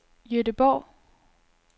Gøteborg